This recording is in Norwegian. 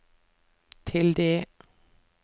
tilde